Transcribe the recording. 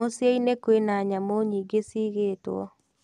Mũciĩ-inĩ kwĩna nyamũ nyingĩ ciigĩtwo.